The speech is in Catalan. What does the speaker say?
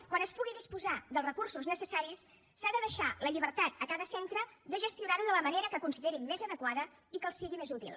quan es pugui disposar dels recursos necessaris s’ha de deixar la llibertat a cada centre de gestionar ho de la manera que considerin més adequada i que els sigui més útil